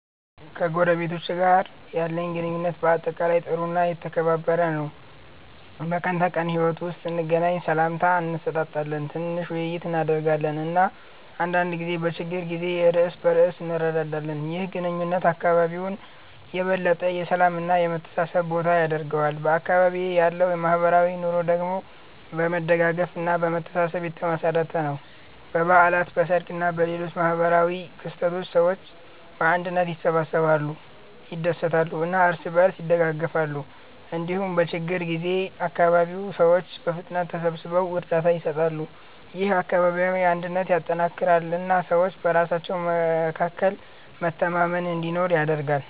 ከጎረቤቶቼ ጋር ያለኝ ግንኙነት በአጠቃላይ ጥሩ እና የተከባበረ ነው። በቀን ተቀን ሕይወት ውስጥ ስንገናኝ ሰላምታ እንሰጣጣለን፣ ትንሽ ውይይት እናደርጋለን እና አንዳንድ ጊዜ በችግር ጊዜ እርስ በእርስ እንረዳዳለን። ይህ ግንኙነት አካባቢውን የበለጠ የሰላም እና የመተሳሰብ ቦታ ያደርገዋል። በአካባቢዬ ያለው ማህበራዊ ኑሮ ደግሞ በመደጋገፍ እና በመተሳሰብ የተመሠረተ ነው። በበዓላት፣ በሰርግ እና በሌሎች ማህበራዊ ክስተቶች ሰዎች በአንድነት ይሰበሰባሉ፣ ይደሰታሉ እና እርስ በእርስ ይደጋገፋሉ። እንዲሁም በችግኝ ጊዜ አካባቢው ሰዎች በፍጥነት ተሰብስበው እርዳታ ይሰጣሉ። ይህ አካባቢያዊ አንድነትን ያጠናክራል እና ሰዎች በራሳቸው መካከል መተማመን እንዲኖር ያደርጋል።